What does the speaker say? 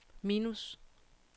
minus